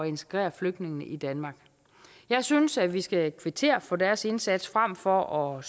integrere flygtninge i danmark jeg synes at vi skal kvittere for deres indsats frem for at